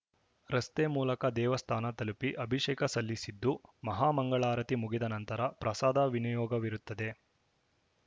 ರಸ್ತೆ ಮೂಲಕ ದೇವಸ್ಥಾನ ತಲುಪಿ ಅಭಿಷೇಕ ಸಲ್ಲಿಸಲಿದ್ದು ಮಹಾಮಂಗಳಾರತಿ ಮುಗಿದ ನಂತರ ಪ್ರಸಾದ ವಿನಿಯೋಗವಿರುತ್ತದೆ